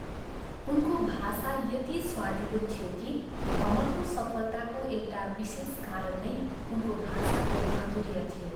उनको भाषा यति स्वादिलो थियो कि भ्रमरको सफलताको एउटा विशेष कारण नै उनको भाषाको माधुर्य थियो।